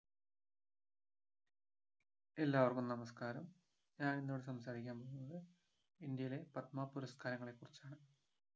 എല്ലാവർക്കും നമസ്‍കാരം ഞാൻ ഇന്നിവിടെ സംസാരിക്കാൻ പോകുന്നത് ഇന്ത്യയിലെ പത്മപുരസ്‍കാരങ്ങളെക്കുറിച്ചാണ്